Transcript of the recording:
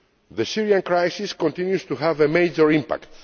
The Syrian crisis continues to have a major impact.